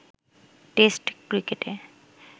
test ক্রিকেটে